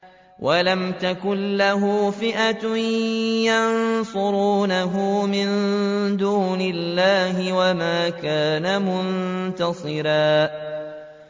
وَلَمْ تَكُن لَّهُ فِئَةٌ يَنصُرُونَهُ مِن دُونِ اللَّهِ وَمَا كَانَ مُنتَصِرًا